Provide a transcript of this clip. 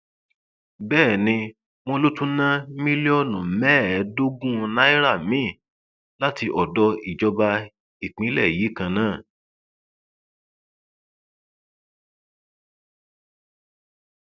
bẹẹ ni wọn lọ tún ná mílíọnù mẹẹẹdọọgùn náírà míín láti odò ìjọba ìpínlẹ yìí kan náà